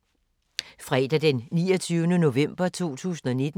Fredag d. 29. november 2019